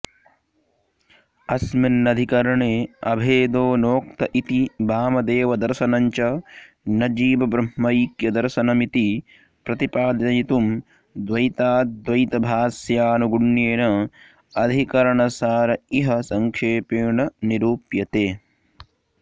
अस्मिन्नधिकरणे अभेदो नोक्त इति वामदेवदर्शनञ्च न जीवब्रह्मैक्यदर्शनमिति प्रतिपादयितुं द्वैताद्वैतभाष्यानुगुण्येन अधिकरणसार इह सङ्क्षेपेण निरुप्यते